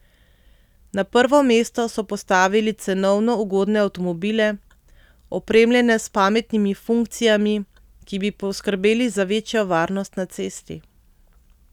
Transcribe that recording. Na prvo mesto so postavili cenovno ugodne avtomobile, opremljene s pametnimi funkcijami, ki bi poskrbeli za večjo varnost na cesti.